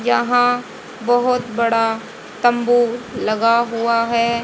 यहां बहोत बड़ा तंबू लगा हुआ है।